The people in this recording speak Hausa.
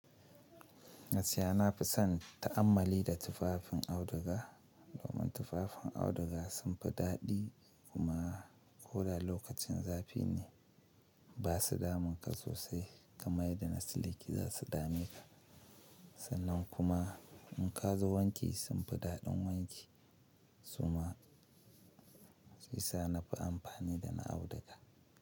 Gaskiya nafi son ta'ammali da tufafin auduga domin tufafin auduga sun fi daɗi kuma ko da lokacin zafi ne ba su damun ka sosai kamar yadda siliki za su dame ka. Sannan kuma in ka zo wanki sun fi daɗin wanki. Suma sai sa na fi amfani da na auduga.